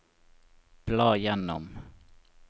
bla gjennom